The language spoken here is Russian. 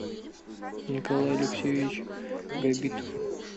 николай алексеевич габитов